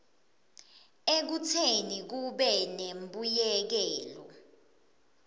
ekutseni kube nembuyekelo